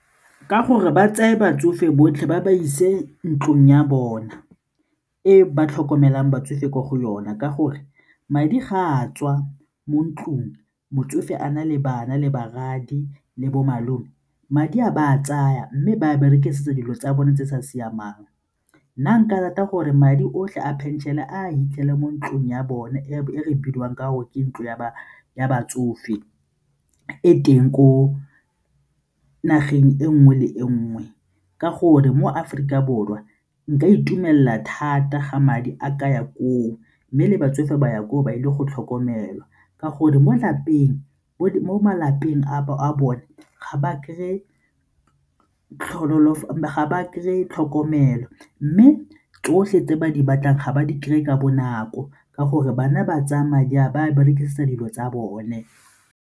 Ka gore ba tseye batsofe botlhe ba ba ise ntlong ya bona e ba tlhokomelang batsofe ko go yona ka gore madi ga a tswa mo ntlong motsofe a na le bana le barwadi le bo malome, madi a ba a tsaya mme ba a berekisitsa dilo tsa bone tse di sa siamang. Nna nka rata gore madi otlhe a phenšene a fitlhele mo ntlong ya bone e re bidiwang ka gore ke ntlo ya batsofe e teng ko nageng e nngwe le nngwe ka gore mo Aforika Borwa nka itumela thata ga madi a ka ya koo mme le batsofe ba ya koo ba ile go tlhokomelwa ka gore mo malapeng a bone ga ba kry-e tlhokomelo mme tsotlhe tse ba di batlang ga ba di kry-e ka bonako ka gore bana ba tsaya madi a berekisa dilo tsa bone.